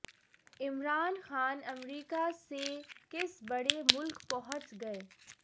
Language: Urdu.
عمران خان امریکہ سے کس بڑے ملک پہنچ گئے